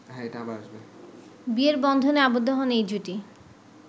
বিয়ের বন্ধনে আবদ্ধ হন এই জুটি